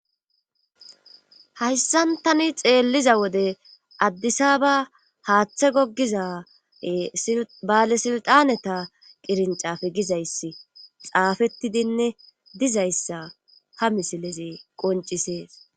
hayssan tani xeelliza wode addisaba haaththe gogiza baale silxaneta qirincafe gizayss xaafettidinne dizayssa ha misileze qoncisees